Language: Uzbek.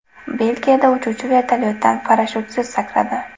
Belgiyada uchuvchi vertolyotdan parashyutsiz sakradi.